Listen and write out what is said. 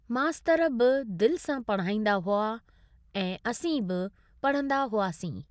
मास्तरु बि दिल सां पढ़ांईंदा हुआ ऐं असीं बि पढ़ंदा हुआसीं।